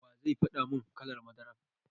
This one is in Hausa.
Wa zai faɗa mun kalar madara?